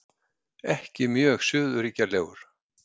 Ekki mjög suðurríkjalegur.